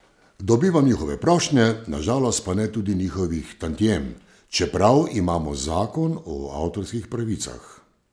Dobivam njihove prošnje, na žalost pa ne tudi njihovih tantiem, čeprav imamo zakon o avtorskih pravicah.